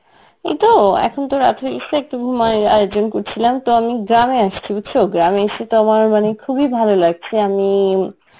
এই তো এখন তো রাত হয়েগিছে একটু ঘুমায়ের আয়োজন করছিলাম তো আমি গ্রামে আসছি বুঝছ, গ্রামে এসে তো আমার মানে খুবই ভালো লাগছে আমি